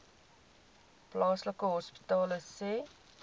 plaaslike hospitale sê